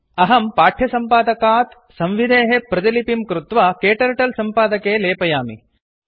अहं पाठ्यसम्पादकात् संविधेः प्रतिलिपिं कृत्वा क्टर्टल सम्पादके लेपयामि